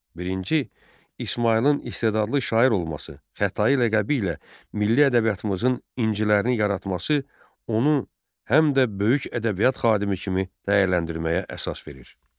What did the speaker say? Birinci İsmayılın istedadlı şair olması, Xətai ləqəbi ilə milli ədəbiyyatımızın incilərini yaratması onu həm də böyük ədəbiyyat xadimi kimi dəyərləndirməyə əsas verir.